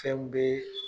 Fɛn be